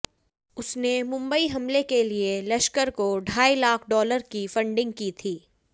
उसने मुंबई हमले के लिए लश्कर को ढाई लाख डॉलर की फंडिंग की थी